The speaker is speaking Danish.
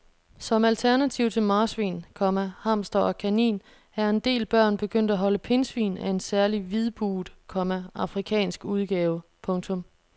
Som alternativ til marsvin, komma hamster og kanin er en del børn begyndt at holde pindsvin af en særlig hvidbuget, komma afrikansk udgave. punktum